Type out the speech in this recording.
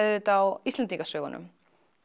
auðvitað á Íslendingasögunum